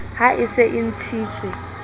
ha e se e ntshitswe